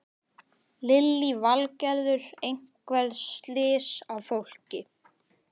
Lillý Valgerður: Einhver slys á fólki?